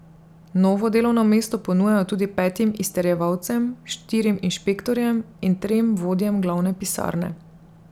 Novo delovno mesto ponujajo tudi petim izterjevalcem, štirim inšpektorjem in trem vodjem glavne pisarne.